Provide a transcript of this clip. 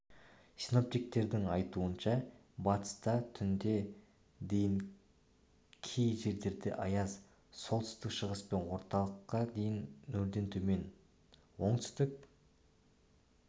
синоптиктердің айтуынша батыста түнде дейін кей жерлерде аяз солтүстік шығыс пен орталықта дейін нөлден төмен оңтүстік